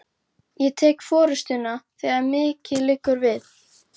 Ég tek forystuna, þegar mikið liggur við!